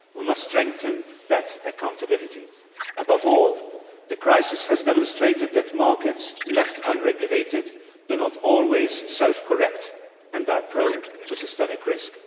We must strengthen that accountability. Above all, the crisis has demonstrated that markets left unregulated do not always self correct and are prone to systemic risk.